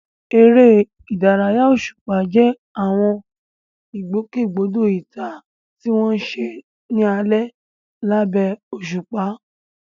Eré ìdárayá òṣùpá jẹ́ àwọn ìgbòkègbodò ìta tí wọ́n ń ṣe ní alẹ́ lábẹ́ òṣùpá.